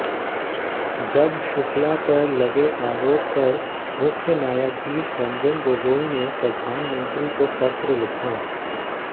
जज शुक्ला पर लगे आरोप पर मुख्य न्यायाधीश रंजन गोगोई ने प्रधानमंत्री को पत्र लिखा